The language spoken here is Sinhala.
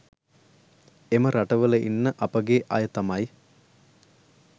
එම රටවල ඉන්න අපගේ අය තමයි